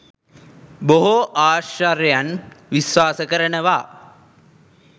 බොහෝ ආශ්චර්යයන් විශ්වාස කරනවා.